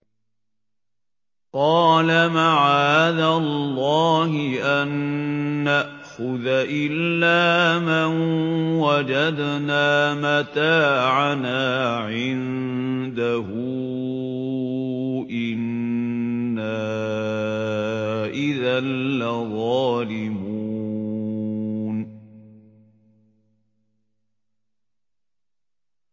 قَالَ مَعَاذَ اللَّهِ أَن نَّأْخُذَ إِلَّا مَن وَجَدْنَا مَتَاعَنَا عِندَهُ إِنَّا إِذًا لَّظَالِمُونَ